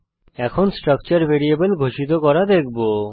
এখন structure variable ঘোষিত করা দেখব